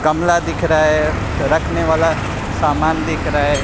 गमला दिख रहा है रखने वाला सामान दिख रहा--